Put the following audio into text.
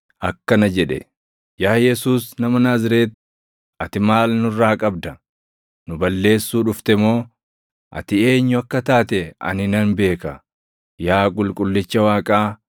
akkana jedhe; “Yaa Yesuus nama Naazreeti, ati maal nurraa qabda? Nu balleessuu dhufte moo? Ati eenyu akka taate ani nan beeka, yaa Qulqullicha Waaqaa!”